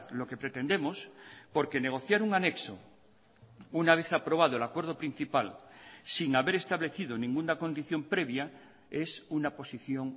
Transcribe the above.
lo que pretendemos porque negociar un anexo una vez aprobado el acuerdo principal sin haber establecido ninguna condición previa es una posición